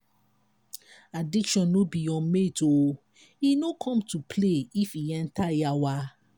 addiction no be your mate o e no come to play if e enter yawa.